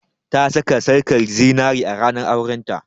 Ta saka sarƙar zinari a ranar auren ta